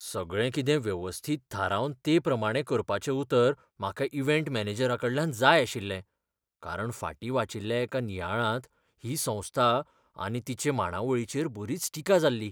सगळें कितें वेवस्थीत थारावन तेप्रमाणें करपाचें उतर म्हाका इव्हँट मॅनेजरााकडल्यान जाय आशिल्लें. कारण फाटीं वाचिल्ल्या एका नियाळांत ही संस्था आनी तिचे मांडावळीचेर बरीच टिका जाल्ली.